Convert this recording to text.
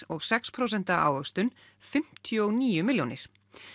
og sex prósent ávöxtun fimmtíu og níu milljónir